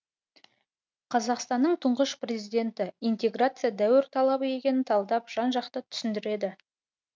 қазақстанның тұңғыш президенті интеграция дәуір талабы екенін талдап жан жақты түсіндіреді